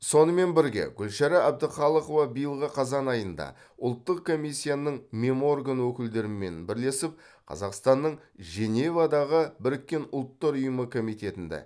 сонымен бірге гүлшара әбдіқалықова биылғы қазан айында ұлттық комиссияның меморган өкілдерімен бірлесіп қазақстанның женевадағы біріккен ұлттар ұйымы комитетінде